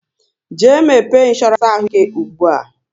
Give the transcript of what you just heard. Jee mepe insoorance ahụ ike ugbua!